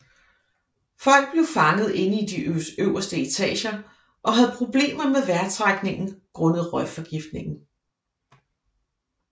Folk blev fanget inde i de øverste etager og havde problemer med vejrtrækningen grundet røgforgiftningen